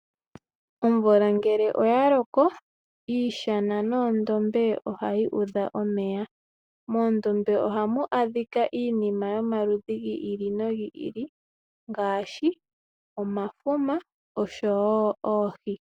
Omvula ngele oyaloko, iishana noondombe ohayi udha omeya. Moondombe ohamu adhika iinima yomaludhi gi ili no gi ili ngaashi omafuma osho wo oohi.